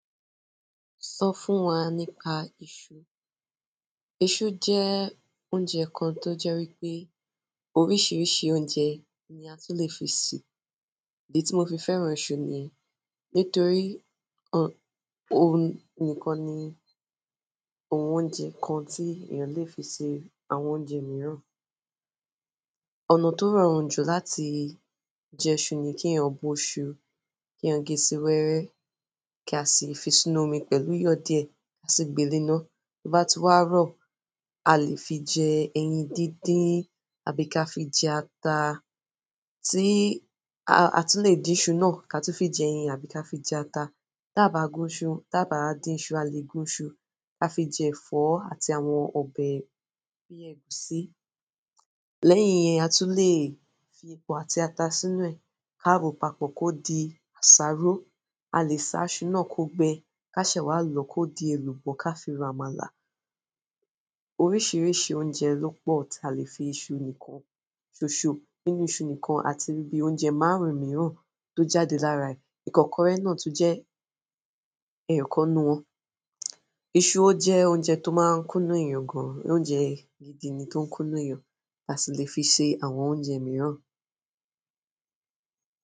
Sọ fún wa nípa iṣu. Iṣu jẹ́ oúnjẹ kan tó jẹ́ wípé oríṣiríṣi oúnjẹ ni a tún lè fi ṣe. Èyí tí mo fi fẹ́ràn iṣu niyen nítorí òun nìkan ni oúnjẹ kan tí èèyàn lè fi ṣe àwọn oúnjẹ mìíràn. Ọ̀nà tó rọrùn jù láti je iṣu ni kí èèyàn bó iṣu, kí èèyàn gé sí wẹ́wẹ́, kí a sì fi sínú omi pẹ̀lú iyọ̀ díẹ̀, kí a sì gbẹ́ líná. Bí ó bá ti wá rọ̀, a lè fi jẹ ẹyin dídin àbí ka fi jẹ ata. Tí a tún lè dín iṣu náà ká tun fi jẹ ẹyin àbí ká fi jẹ ata. Báa gún iṣu, ti a bá dín iṣu, a lè gún iṣu ká fi jẹ ẹ̀fọ́ àti àwọn ọbẹ̀ bíi ẹ̀gúsí. Lẹ́yìn yẹn, a tún lè fi epo àti ata sínú ẹ̀ káàró papọ̀ kó di àsáró. A lè sa iṣu náà kó gbẹ kí a se wá lòó kó di èlùbọ́ ká fi ro àmàlà. Oríṣiríṣi oúnjẹ ló pọ̀ tí a lè fi iṣu nìkan ṣoṣo nínú iṣu nìkan àtiri ibi oúnjẹ márùn-ún mìíràn tó jáde lára rẹ̀. Ìkọ́kọrẹ́ náà tún jẹ́ ẹ̀yọ̀kan nínú wọn. Iṣú ò jẹ́ oúnjẹ tó máa ń kúnú èèyàn gan-an, ó jẹ oúnjẹ gidi ni tó ń kúnú èèyàn, a sì lè fi ṣe àwọn oúnjẹ mìíràn.